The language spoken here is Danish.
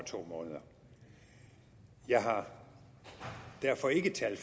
to måneder jeg har derfor ikke tal